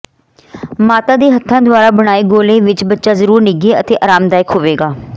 ਮਾਤਾ ਦੇ ਹੱਥਾਂ ਦੁਆਰਾ ਬਣਾਏ ਗੋਲੇ ਵਿਚ ਬੱਚਾ ਜ਼ਰੂਰ ਨਿੱਘੇ ਅਤੇ ਅਰਾਮਦਾਇਕ ਹੋਵੇਗਾ